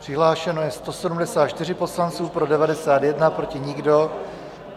Přihlášeno je 174 poslanců, pro 91, proti nikdo.